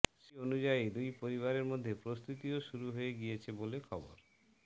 সেই অনুযায়ী দুই পরিবারের মধ্যে প্রস্তুতিও শুরু হয়ে গিয়েছে বলে খবর